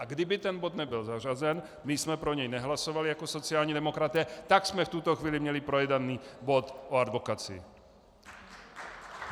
A kdyby ten bod nebyl zařazen, my jsme pro něj nehlasovali jako sociální demokraté, tak jsme v tuto chvíli měli projednaný bod o advokacii.